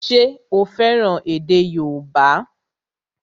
Ṣé o fẹ́ràn èdè yóòbá?